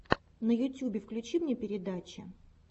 на ютюбе включи мне передачи